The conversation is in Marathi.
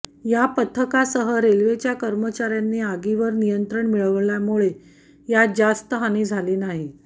या पथकासह रेल्वेच्या कर्मचार्यांनी आगीवर नियंत्रण मिळवल्यामुळे यात जास्त हानी झाली नाही